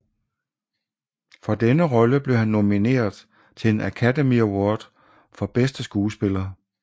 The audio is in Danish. For denne rolle blev han nomineret til en Academy Award for bedste skuespiller